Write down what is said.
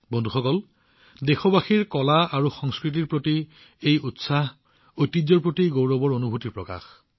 বন্ধুসকল কলা আৰু সংস্কৃতিৰ প্ৰতি দেশবাসীৰ এই উৎসাহ হৈছে আমাৰ ঐতিহ্যত গৌৰৱ অনুভৱৰ প্ৰকাশ